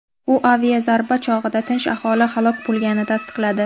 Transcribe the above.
U aviazarba chog‘ida tinch aholi halok bo‘lganini tasdiqladi.